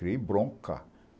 Criei bronca.